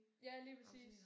Ja lige præcis